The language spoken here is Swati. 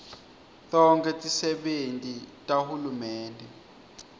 tonkhe tisebenti tahulumende